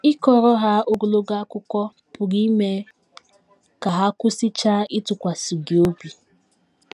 Ịkọrọ ha ogologo akụkọ pụrụ ime ka ha kwụsịchaa ịtụkwasị gị obi.